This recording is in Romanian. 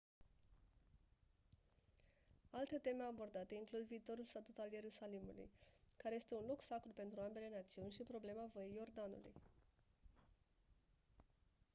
alte teme abordate includ viitorul statut al ierusalimului care este un loc sacru pentru ambele națiuni și problema văii iordanului